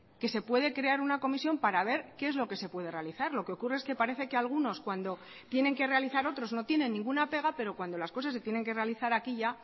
que se puede crear una comisión para ver qué es lo que se puede realizar lo que ocurre es que parece que algunos cuando tienen que realizar otros no tienen ninguna pega pero cuando las cosas se tienen que realizar aquí ya